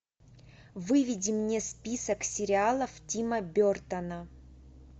выведи мне список сериалов тима бертона